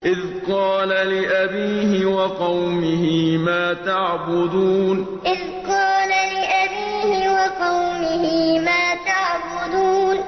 إِذْ قَالَ لِأَبِيهِ وَقَوْمِهِ مَا تَعْبُدُونَ إِذْ قَالَ لِأَبِيهِ وَقَوْمِهِ مَا تَعْبُدُونَ